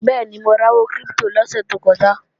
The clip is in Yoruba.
Bẹ́ẹ̀ni, mo ra owó kírípítò lọ́sè tó kọjá